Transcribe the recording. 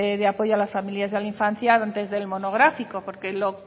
de apoyo a las familias e infancia antes del monográfico porque lo